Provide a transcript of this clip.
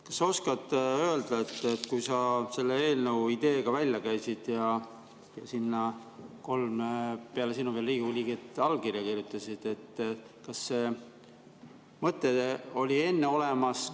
Kas sa oskad öelda, kui sa selle eelnõu idee välja käisid ja sinna peale sinu veel kolm Riigikogu liiget allkirja kirjutasid, kas see mõte oli enne olemas?